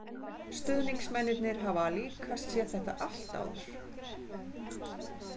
Stuðningsmennirnir hafa líka séð þetta allt áður.